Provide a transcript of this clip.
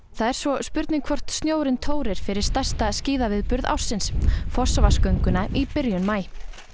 það er svo spurning hvort snjórinn tórir fyrir stærsta skíðaviðburð ársins í byrjun maí